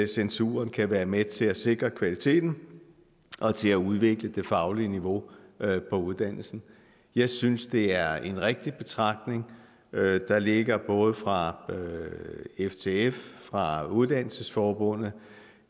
censuren kan være med til at sikre kvaliteten og til at udvikle det faglige niveau på uddannelsen jeg synes det er en rigtig betragtning der ligger både fra ftf og fra uddannelsesforbundet